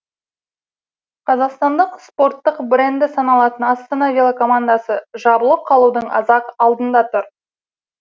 қазақстанның спорттық бренді саналатын астана велокомандасы жабылып қалудың аз ақ алдында тұр